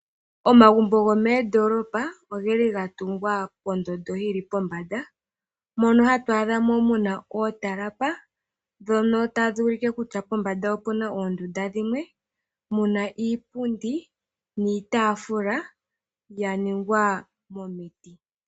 Omagumbo gomoondoolopa ogeli gatungwa pondondo yili pombanda, Mono hatu adhamo muna ootalapa ndhono tadhi ulike kutya pombanda opuna ondunda dhimwe muna iipundi niitafula yaningwa momiti.